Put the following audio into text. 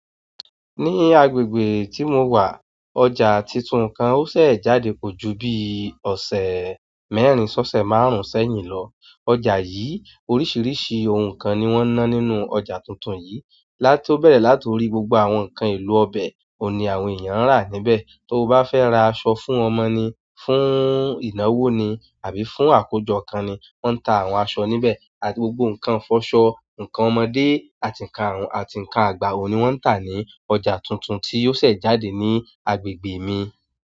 Ní agbègbè tí mo wà, ọjà tuntun kan ó ṣẹ̀ jáde kọ̀ ju bi ọ̀sẹ̀ mẹ́rin ṣọ́ṣẹ́ márùn-ún sẹ́yìn lọ. Ọjà yìí, oríṣiríṣi ohun kan ni wọ́n ń ná nínú ọjà tuntun yìí. Láti ọ bẹ̀rẹ̀ láti orí, gbogbo àwọn ǹkan èlò ọbẹ̀ òní àwọn èèyàn ń rà níbẹ̀. Tó o bá fẹ́ ra aṣọ fún ọmọ ni, fún ìnáwó ni àbí fún àkójọ kan ni, wọ́n ń ta àwọn aṣọ níbẹ̀. Àti gbogbo ǹkan ìfọṣọ, ǹkan ọmọdé àti ǹkan àgbà òní wọ́n ń tà ní ọjà tuntun tí ó ṣẹ̀ jáde ní agbègbè mi.